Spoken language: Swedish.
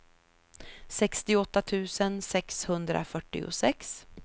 sextioåtta tusen sexhundrafyrtiosex